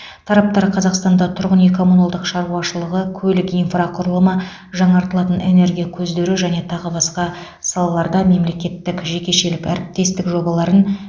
тараптар қазақстанда тұрғын үй коммуналдық шаруашылығы көлік инфрақұрылымы жаңартылатын энергия көздері және тағы басқа салаларда мемлекеттік жекешелік әріптестік жобаларын